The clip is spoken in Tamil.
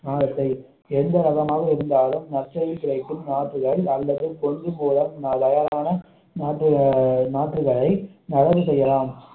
நாரத்தை எந்த ரகமாக இருந்தாலும் மச்சையில் கிடைக்கும் நாட்களை அல்லது கொள்ளும் மூலம் அழகான நாற்று நாற்றுகளை நடவு செய்யலாம்